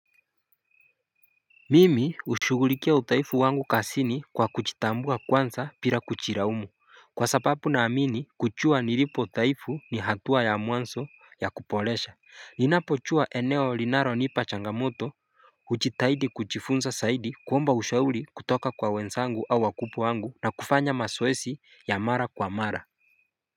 Mimi hushugulikia udhaifu wangu kazini kwa kujitambua kwanza bila kujilaumu kwa sababu naamini kujua nilipo dhaifu ni hatua ya mwanzo ya kuboresha. Ninapojua eneo linalonipa changamoto kujitahidi kujifunza zaidi, kuomba ushauri kutoka kwa wezsangu au wakubwa wangu na kufanya mazoezi ya mara kwa mara.